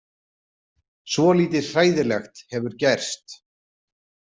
Svolítið hræðilegt hefur gerst.